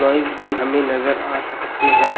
Price भी हमें नजर आ सकती हैं।